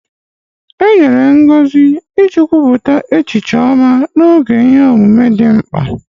Enyere ngozi iji kwupụta echiche ọma n'oge ihe omume dị mkpa